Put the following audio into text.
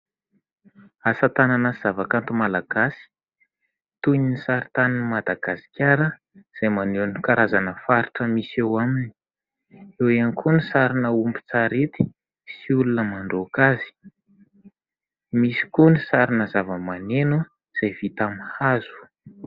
Asa tanana sy zavakanto malagasy toy ny sary tanin'i Madagasikara izay maneho ny karazana faritra misy eo aminy. Eo ihany koa ny sarina ombin-tsarety sy olona mandroaka azy. Misy koa ny sarina zavamaneno izay vita amin'ny hazo.